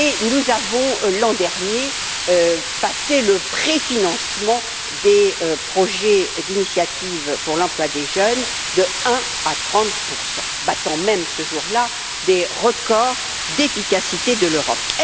nous avons, l'an dernier, passé le préfinancement des projets d'initiative pour l'emploi des jeunes de 1 à 30 battant même, ce jour là, des records d'efficacité de l'Europe.